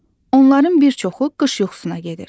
Onların bir çoxu qış yuxusuna gedir.